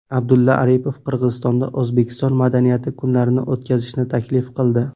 Abdulla Aripov Qirg‘izistonda O‘zbekiston madaniyati kunlarini o‘tkazishni taklif qildi.